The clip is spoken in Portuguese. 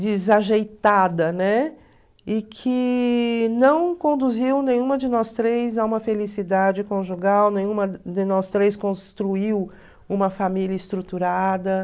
desajeitada, né, e que não conduziu nenhuma de nós três a uma felicidade conjugal, nenhuma de nós três construiu uma família estruturada.